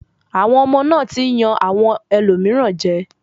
Àwọn ọmọ náà ti ń yan àwọn ẹlòmíràn jẹ.